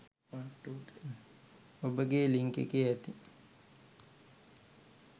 ඔබගේ ලින්ක් එකේ ඇති